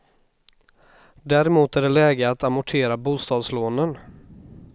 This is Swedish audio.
Däremot är det läge att amortera bostadslånen.